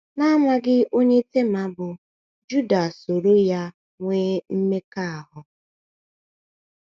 N’amaghị onye Tema bụ, Juda soro ya nwee mmekọahụ.